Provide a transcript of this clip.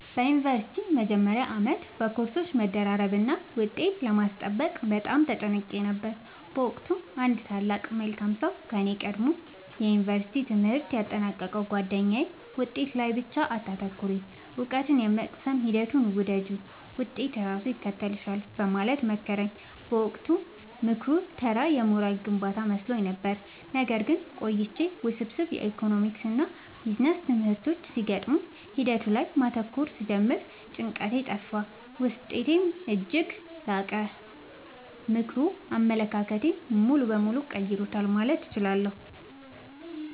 በዩኒቨርሲቲ መጀመሪያ ዓመት በኮርሶች መደራረብና ውጤት ለማስጠበቅ በጣም ተጨንቄ ነበር። በወቅቱ አንድ ታላቅ መልካም ሰው ከኔ ቀድሞ የዩንቨርስቲ ትምህርቱን ያጠናቀቀው ጉአደኛዬ «ውጤት ላይ ብቻ አታተኩሪ: እውቀትን የመቅሰም ሂደቱን ውደጂው፣ ውጤት ራሱ ይከተልሻል» በማለት መከረኝ። በወቅቱ ምክሩ ተራ የሞራል ግንባታ መስሎኝ ነበር። ነገር ግን ቆይቼ ውስብስብ የኢኮኖሚክስና ቢዝነስ ትምህርቶች ሲገጥሙኝ ሂደቱ ላይ ማተኮር ስጀምር ጭንቀቴ ጠፋ: ውጤቴም እጅግ ላቀ። ምክሩ አመለካከቴን ሙሉ በሙሉ ቀይሮታል ማለት እችላለሁ።